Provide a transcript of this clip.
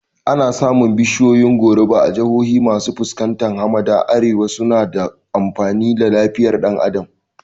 Ana samun bishiyoyin goruba a jihohi masu fuskantar hamada na Arewa kuma suna da amfani wa lafiyar ɗan Adam